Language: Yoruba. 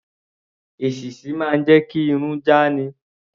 Èṣíṣí máa ń jẹ́ kí irun já ni.